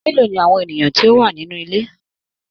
Mélòó ní àwọn ènìyàn tó wà nínú ilé?